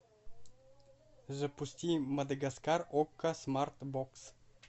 запусти мадагаскар окко смарт бокс